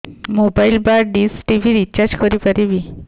mobile ବା dish TV recharge କରି ପାରିବି